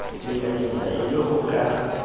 lekanyetsa e le ho ka